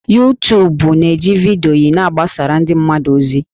Yutubu na-eji vidiyo na-agbasara ndị mmadụ ozi